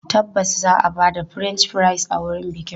Tabbas za a ba da French fries a wurin bikin.